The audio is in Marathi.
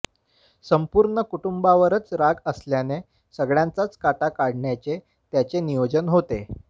संपूर्ण कुटुंबावरच राग असल्याने सगळ्यांचाच काटा काढण्याचे त्याचे नियोजन होते